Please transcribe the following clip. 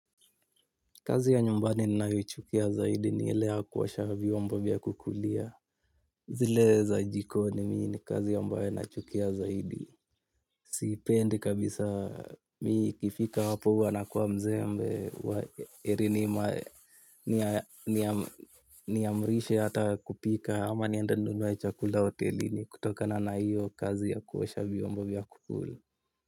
Kazi ya nyumbani ninayoichukia zaidi ni ile ya kuosha vyombo vya kukulia. Zile za jikoni, mimi ni kazi ambayo naichukia zaidi. Siipendi kabisa; mimi ikifika hapo huwa nakuwa mzembe, heri nikiamriwa nipike. Ama niende ninunue chakula hotelini kutokana na hiyo kazi ya kuosha vyombo vya kukula.